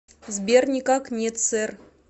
сбер никак нет сэр